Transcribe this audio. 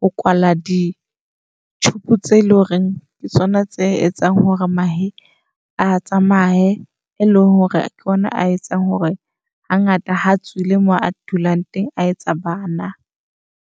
ho kwala di-tube tseo eleng hore ke tsona tse etsang hore mahe a tsamae. E leng hore ke yona a etsang hore hangata ha tswile mo a dulang teng, a etsa bana.